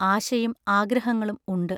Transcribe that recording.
ആശയും ആഗ്രഹ ങ്ങളും ഉണ്ട്...